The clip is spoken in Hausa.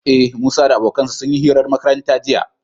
Ee, Musa da abokansa sun yi hirar makaranta jiya.